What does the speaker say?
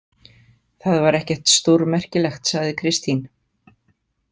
Það var ekkert stórmerkilegt, sagði Kristín.